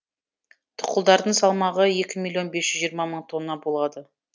тұқылдардың салмағы екі миллион бес жүз жиырма мың тонна болады